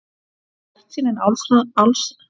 Er bjartsýnin allsráðandi hjá ykkur?